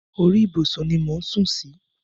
Orí ìbùsùn ni mò ń sù sí.